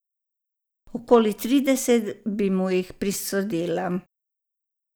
Okoli trideset bi mu jih prisodila.